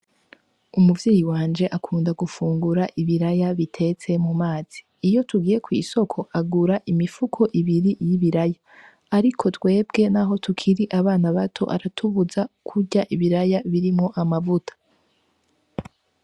Umuvyeyi wanje akunda gufungura ibiraya bitetse mu mazi. Iyo tugiye kw'isoko agura imifuko ibiri y'ibiraya. Ariko twebwe naho tukiri abana bato aratubuza kurya ibiraya birimwo amavuta.